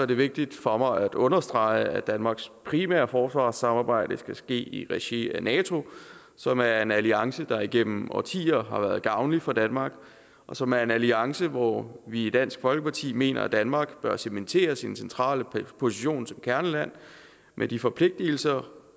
det vigtigt for mig at understrege at danmarks primære forsvarssamarbejde skal ske i regi af nato som er en alliance der igennem årtier har været gavnlig for danmark og som er en alliance hvor vi i dansk folkeparti mener at danmark bør cementere sin centrale position som kerneland med de forpligtelser